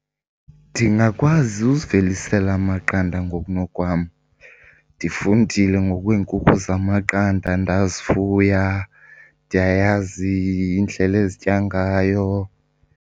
Ndingakwazi uzivelisela amaqanda ngokunokwam. Ndifundile ngokweenkukhu zamaqanda ndazifuya, ndiyayazi indlela ezitya ngayo.